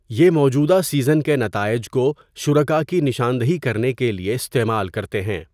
یہ موجودہ سیزن کے نتائج کو شرکاء کی نشاندہی کرنے کے لیے استعمال کرتے ہیں۔